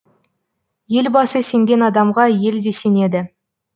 елбасы сенген адамға ел де сенеді